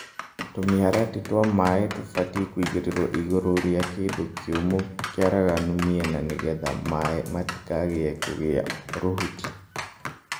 Tũmĩharatĩ twa maaĩ tũbatiĩ kũigĩrĩro igũrũ rĩa kĩndũ kĩũmũ kĩaraganu mĩena nĩgetha maaĩ matikae kũgĩa rũhuti.